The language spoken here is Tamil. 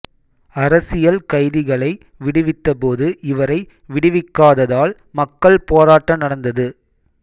அரசியல் கைதிகளை விடுவித்தபோது இவரை விடுவிக்காததால் மக்கள் போராட்ட நடந்தது